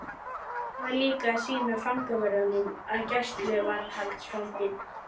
Ég var líka að sýna fangavörðunum að gæsluvarðhaldsfanginn